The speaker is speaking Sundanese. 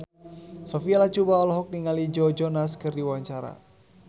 Sophia Latjuba olohok ningali Joe Jonas keur diwawancara